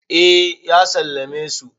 eh ya sallame su